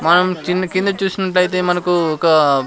మనం కింద కింద చూసినట్లయితే మనకు ఒక.